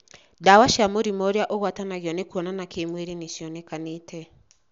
Dawa cia mũrimũ ũrĩa uragwatanio nĩ kuonana kĩmwĩrĩ nĩ cionekanĩte